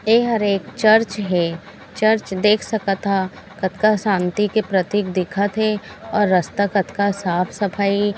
ये हर एक एक चर्च है चर्च देख सकत हा कतका शांति के प्रतीक दिखत है और रास्ता कतका साफ-सफाई--